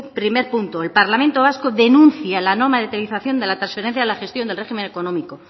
primer punto el parlamento vasco denuncia la no materialización de la transferencia de la gestión del régimen económico